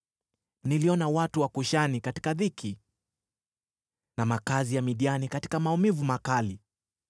Niliona watu wa Kushani katika dhiki, na makazi ya Midiani katika maumivu makali.